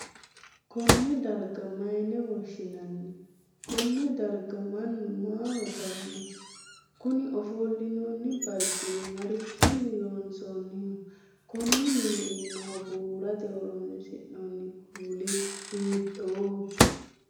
Konne darga mayine woshinnanni? Konne darga mannu maaho daano? Kunni ofolinnanni barcimi marichinni loonsoonniho? Konne minne iimaho buurate horoonsi'nanni kuuli hiittooho?